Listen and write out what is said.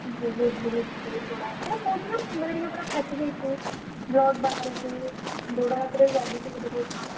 ବହୁତ୍ ବହୁତ୍ ବହୁତ୍ ବଡ ଆ କହୁଛି ବା ମୁଣ୍ଡ ହରିକା ପୁରା ଫାଟି ଯାଇଛି, blood ବାହାରୁଛି। ଗୋଡ ହାତରେ ବି ବାଜିଛି ବୋଧେ ବହୁତ୍ ମାଡ଼।